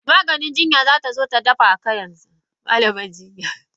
Malam jinya zatazo ta dabaka yanzu.